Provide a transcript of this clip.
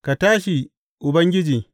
Ka tashi, Ubangiji!